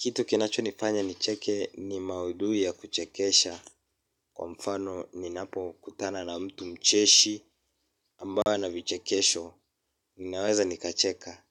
Kitu kinacho nifanya nicheke ni maudhui ya kuchekesha. Kwa mfano ninapo kutana na mtu mcheshi ambayo ana vichekesho. Ninaweza nikacheka